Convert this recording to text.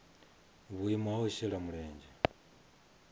vhuimo ha u shela mulenzhe